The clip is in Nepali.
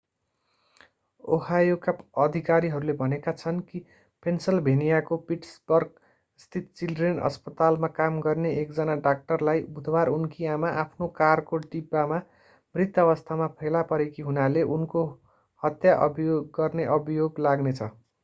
ओहायोका अधिकारीहरूले भनेका छन् कि पेन्सिल्भेनियाको पिट्सबर्गस्थित चिल्ड्रेन्स अस्पतालमा काम गर्ने एकजना डाक्टरलाई बुधवार उनकी आमा आफ्नो कारको डिब्बामा मृत अवस्थामा फेला परेकी हुनाले उनको हत्या गर्ने अभियोग लाग्नेछ